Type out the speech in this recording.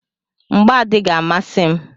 Mgbà adịghị amasị m.